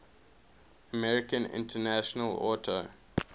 american international auto